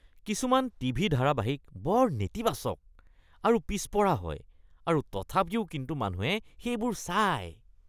কিছুমান টিভি ধাৰাবাহিক বৰ নেতিবাচক আৰু পিছপৰা হয় আৰু তথাপিও কিন্তু মানুহে সেইবোৰ চায়।